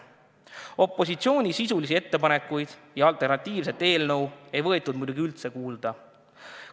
Opositsiooni sisulisi ettepanekuid ja alternatiivset eelnõu ei võetud üldse kuulda.